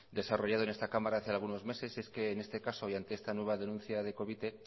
desarrollado en esta cámara hace algunos meses y es que en este caso y ante esta nueva denuncia de covite